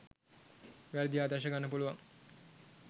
වැරැදි ආදර්ශ ගන්න පුළුවන්.